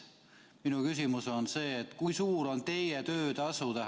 Minu küsimus on: kui suur on teie töötasu?